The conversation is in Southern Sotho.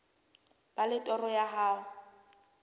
ba le toro ya ho